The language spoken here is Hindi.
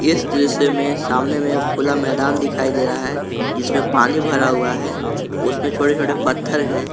इस दृश्य में सामने में खुला मैदान दिखाई दे रहा है जिसमें में पानी भरा हुआ है उसमें छोटे छोटे पत्थर हैं।